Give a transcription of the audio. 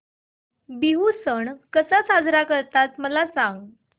बिहू सण कसा साजरा करतात मला सांग